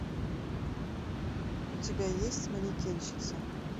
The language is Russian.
у тебя есть манекенщица